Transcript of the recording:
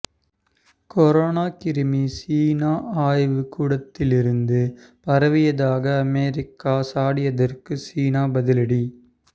corona கிருமி சீன ஆய்வுக்கூடத்திலிருந்து பரவியதாக அமெரிக்கா சாடியதற்கு சீனா பதிலடி